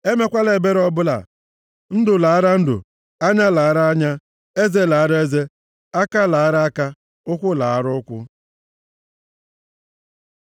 Emekwala ebere ọbụla. Ndụ laara ndụ, anya laara anya, eze laara eze, aka laara aka, ụkwụ laara ụkwụ.